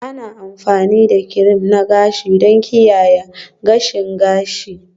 Ana amfani da kirim na gashi don kiyaye gashin gashi